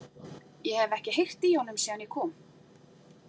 Ég hef ekki heyrt í honum síðan ég kom.